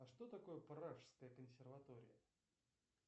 а что такое пражская консерватория